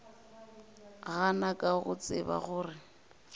gana ka go tseba gore